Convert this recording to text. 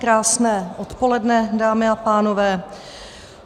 Krásné odpoledne, dámy a pánové.